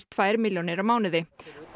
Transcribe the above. tvær milljónir á mánuði